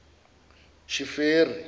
sheferi